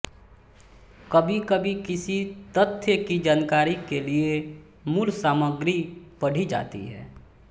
कभीकभी किसी तथ्य की जानकारी के लिए मूल सामग्री पढ़ी जाती है